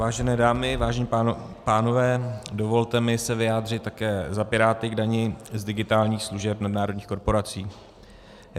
Vážené dámy, vážení pánové, dovolte mi se vyjádřit také za Piráty k dani z digitálních služeb nadnárodních korporací.